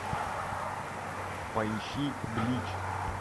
поищи блич